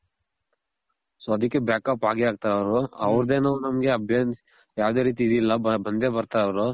so ಅದಕ್ಕೆ back ಆಗೇ ಅಗ್ತಾರ್ ಅವ್ರು. ಅವರದೇನು ನಮ್ಗೆ ಯಾವದೇ ರೀತಿ ಇದಿಲ್ಲ ಬಂದೆ ಬರ್ತಾರ್ ಅವ್ರು